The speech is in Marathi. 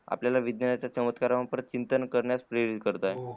आपल्यला विज्ञानाच्या चमत्कार प्रतचिंतन प्रेरित करण्यास आहे